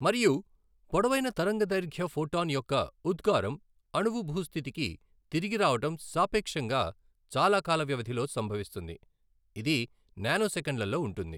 మరియు పొడవైన తరంగదైర్ఘ్య ఫోటాన్ యొక్క ఉద్గారం అణువు భూ స్థితికి తిరిగి రావడం సాపేక్షంగా చాలా కాల వ్యవధిలో సంభవిస్తుంది ఇది నానోసెకన్లలో ఉంటుంది.